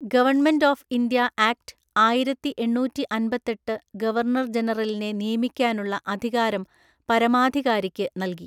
Government of India act ആയിരത്തിഎണ്ണൂറ്റിഅന്‍പത്തെട്ട് governor ജനറലിനെ നിയമിക്കാനുള്ള അധികാരം പരമാധികാരിക്ക് നൽകി.